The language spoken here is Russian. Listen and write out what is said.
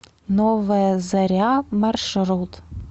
новая заря маршрут